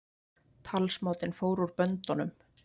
Talsmátinn fór úr böndunum